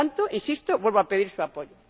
Por tanto ―insisto―, vuelvo a pedir su apoyo.